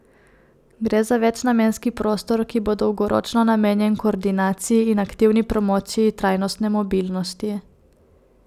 Gre za večnamenski prostor, ki bo dolgoročno namenjen koordinaciji in aktivni promociji trajnostne mobilnosti.